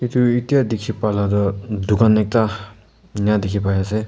edu etya dikhi pala toh dukan ekta ena dikhi paiase.